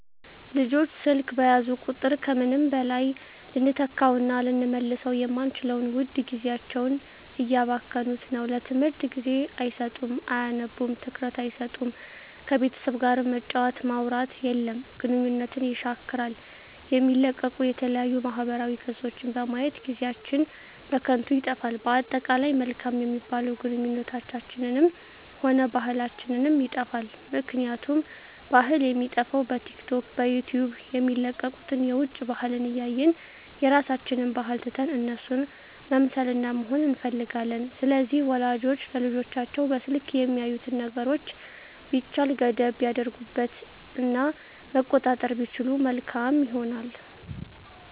ልጆች ስልክ በያዙ ቁጥር ከምንም በላይ ልንተካዉእና ልንመልሰዉ የማንችለዉን ዉድ ጊዜያቸዉን እያባከኑት ነዉ ለትምህርት ጊዜ አይሰጡም አያነቡም ትኩረት አይሰጡም ከቤተሰብ ጋርም መጫወት ማዉራት የለም ግንኙነትን የሻክራል የሚለቀቁ የተለያዩ ማህበራዊ ገፆችን በማየት ጊዜአችን በከንቱ ይጠፋል በአጠቃላይ መልካም የሚባሉ ግንኙነታችንንም ሆነ ባህላችንንም ይጠፋል ምክንያቱም ባህል የሚጠፋዉ በቲክቶክ በዩቲዩብ የሚለቀቁትን የዉጭ ባህልን እያየን የራሳችንን ባህል ትተን እነሱን መምሰልና መሆን እንፈልጋለን ስለዚህ ወላጆች ለልጆቻቸዉ በስልክ የሚያዩትን ነገሮች ቢቻል ገደብ ቢያደርጉበት እና መቆጣጠር ቢችሉ መልካም ይሆናል